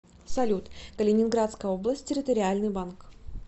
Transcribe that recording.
салют калининградская область территориальный банк